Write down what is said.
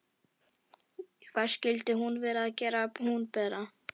Hvað skyldi hún vera að gera hún Bera?